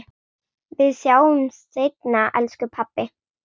Við sjáumst seinna, elsku pabbi.